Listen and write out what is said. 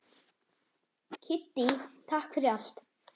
Kiddý, takk fyrir allt.